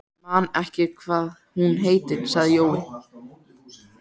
Man ekki hvað hún heitir, sagði Jói.